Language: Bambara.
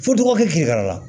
Fo dɔgɔkun kelen yɛrɛ la